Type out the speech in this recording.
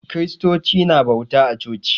Kiristoci na bauta a coci